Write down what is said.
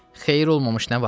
Xeyir olmamış nə var?